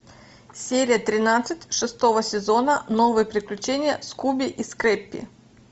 серия тринадцать шестого сезона новые приключения скуби и скрэппи